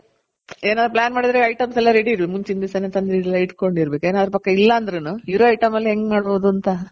ಏನಾದ್ರು plan ಮಾಡುದ್ರೆ items ಎಲ್ಲ ready ಇರೋದ್ ಮುಂಚಿನ್ ದಿಸನೆ ತಂದ್ ಎಲ್ಲ ಇಟ್ಕೊಂಡಿರ್ಬೇಕು ಏನ್ ಅದರ್ ಪಕ ಇಲ್ಲ ಅಂದ್ರುನು ಇರೋ item ಅಲ್ ಹೆಂಗ್ ಮಾಡ್ಬೋದ್ ಅಂತ